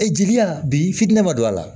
Ee jeliya bi finnan ma don a la